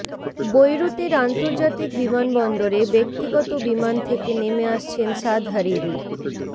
বৈরুতের আন্তর্জাতিক বিমানবন্দরে ব্যক্তিগত বিমান থেকে নেমে আসছেন সাদ হারিরি